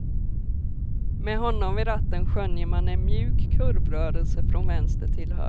Med honom vid ratten skönjer man en mjuk kurvrörelse, från vänster till höger.